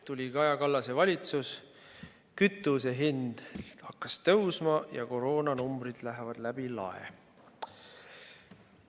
Tuli Kaja Kallase valitsus, kütuse hind hakkas tõusma ja koroonanumbrid lähevad läbi lae.